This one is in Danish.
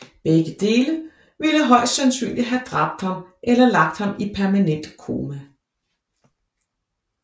Begge dele ville højst sandsynlig have dræbt ham eller lagt ham i permanent koma